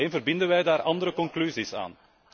Alleen verbinden wij daar andere conclusies aan.